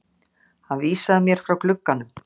Hann vísaði mér frá glugganum.